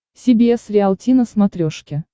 си би эс риалти на смотрешке